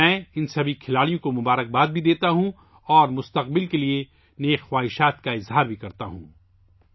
میں ان تمام کھلاڑیوں کو بھی مبارکباد دیتا ہوں اور ان کے مستقبل کے لیے نیک خواہشات کا اظہار کرتا ہوں